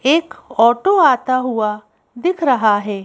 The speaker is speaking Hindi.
एक ऑटो आता हुआ दिख रहा है।